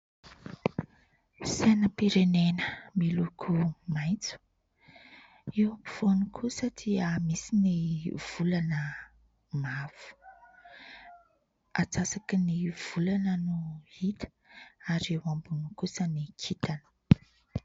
Sainam-pirenena miloko maitso. Eo ampovoany kosa dia misy ny volana mavo. Antsasaky ny volana no hita ary eo ambony kosa ny kintana.